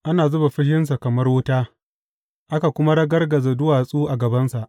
Ana zuba fushinsa kamar wuta; aka kuma ragargaza duwatsu a gabansa.